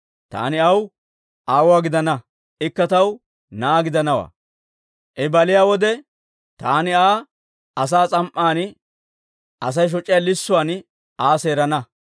Taani aw aawuwaa gidana; ikka taw na'aa gidanawaa. I baliyaa wode, taani Aa asaa s'am"an, Asay shoc'iyaa lissuwaan Aa seerana.